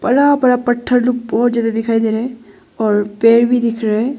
बड़ा बड़ा पत्थर लोग बहुत ज्यादा दिखाई दे रहा है और पेड़ भी दिख रहा है।